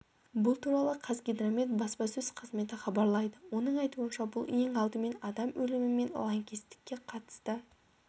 бұл туралы қазгидромет баспасөз қызметі хабарлайды оның айтуынша бұл ең алдымен адам өлімі мен лаңкестікке қатысты